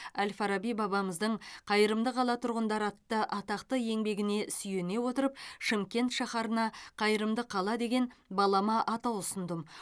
әл фараби бабамыздың қайырымды қала тұрғындары атты атақты еңбегіне сүйене отырып шымкент шаһарына қайырымды қала деген балама атау ұсындым